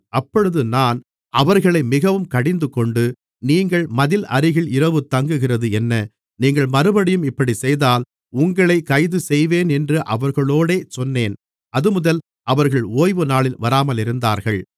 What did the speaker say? அப்பொழுது நான் அவர்களை மிகவும் கடிந்துகொண்டு நீங்கள் மதில் அருகில் இரவு தங்குகிறது என்ன நீங்கள் மறுபடியும் இப்படி செய்தால் உங்களை கைது செய்வேன் என்று அவர்களோடே சொன்னேன் அதுமுதல் அவர்கள் ஓய்வுநாளில் வராமலிருந்தார்கள்